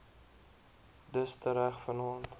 dus tereg vannaand